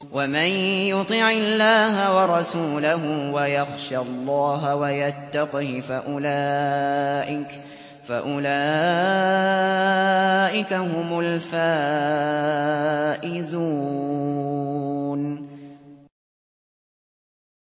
وَمَن يُطِعِ اللَّهَ وَرَسُولَهُ وَيَخْشَ اللَّهَ وَيَتَّقْهِ فَأُولَٰئِكَ هُمُ الْفَائِزُونَ